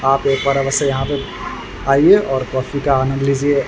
आप एक बार अवश्य यहां पे आइए और कॉफी का आनंद लीजिए।